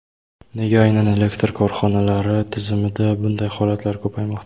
Nega aynan elektr korxonalari tizimida bunday holatlar ko‘paymoqda?